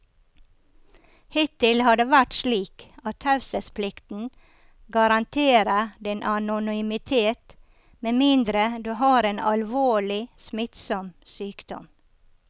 Hittil har det vært slik at taushetsplikten garanterer din anonymitet med mindre du har en alvorlig, smittsom sykdom.